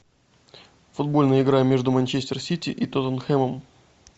футбольная игра между манчестер сити и тоттенхэмом